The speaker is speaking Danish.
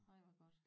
Ej hvor godt